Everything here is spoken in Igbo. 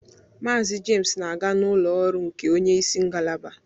Mazị James na-aga n'ụlọ ọrụ nke onye isi ngalaba